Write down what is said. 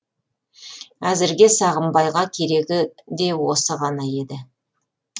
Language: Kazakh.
әзірге сағымбайға керегі де осы ғана еді